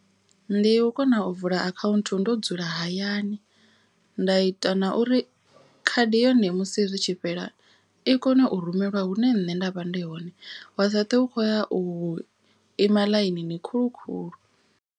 Ndi u kona u vula akhaunthu ndo dzula hayani nda ita na uri khadi yone musi zwi tshi fhela. I kone u rumelwa hune nṋe nda vha ndi hone wa sa twe u khoya u ima ḽainini khulu khulu.